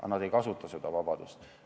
Aga nad ei kasuta seda vabadust.